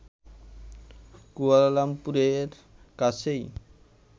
কুয়ালালামপুরের কাছেই